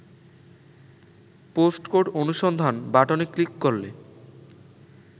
postcode অনুসন্ধান বাটনে click করলে